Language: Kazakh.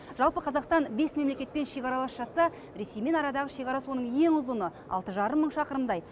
жалпы қазақстан бес мемлекетпен шекаралас жатса ресеймен арадағы шекара соның ең ұзыны алты жарым мың шақырымдай